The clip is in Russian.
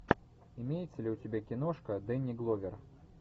имеется ли у тебя киношка дэнни гловер